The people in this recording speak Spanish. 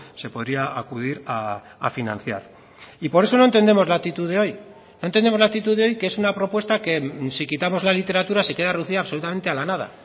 se podría acudir a financiar y por eso no entendemos la actitud de hoy no entendemos la actitud de hoy que es una propuesta que si quitamos la literatura se queda reducida absolutamente a la nada